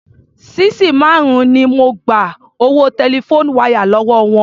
Sisí márùn-ún ni mo gba owó telephone wire lówó wọn.